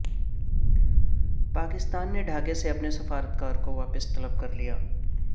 پاکستان نے ڈھاکہ سے اپنے سفارتکار کو واپس طلب کر لیا